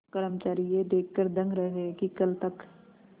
कर्मचारी यह देखकर दंग रह गए कि कल तक